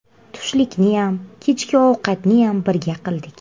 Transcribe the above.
Tushlikniyam, kechki ovqatniyam birga qildik.